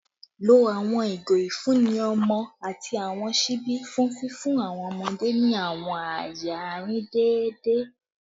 Lo awọn igo ifunni ọmọ ati awọn ṣibi fun fifun awọn ọmọde ni awọn aaye arin deede